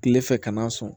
Kile fɛ ka na sɔn